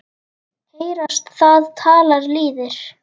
Heyrast það tala lýðir.